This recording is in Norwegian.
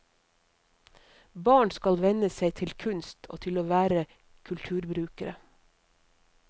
Barn skal venne seg til kunst og til å være kulturbrukere.